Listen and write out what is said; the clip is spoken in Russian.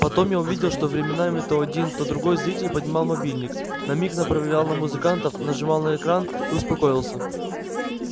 потом я увидел что временами то один то другой зритель поднимал мобильник на миг направлял на музыкантов нажимал на экран и успокоился